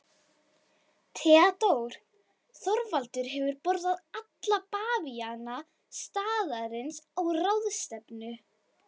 THEODÓRA: Þorvaldur hefur boðað alla bavíana staðarins á ráðstefnu.